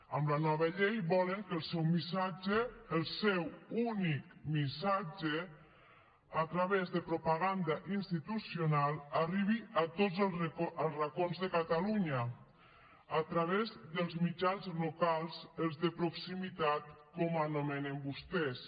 amb la nova llei volen que el seu missatge el seu únic missatge a través de propaganda institucional arribi a tots els racons de catalunya a través dels mitjans locals els de proximitat com els anomenen vostès